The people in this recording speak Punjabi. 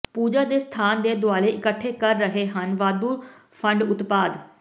ਪੂਜਾ ਦੇ ਸਥਾਨ ਦੇ ਦੁਆਲੇ ਇਕੱਠੇ ਕਰ ਰਹੇ ਹਨ ਵਾਧੂ ਫੰਡ ਉਤਪਾਦ